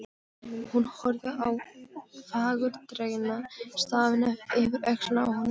Hún horfði á fagurdregna stafina yfir öxlina á honum.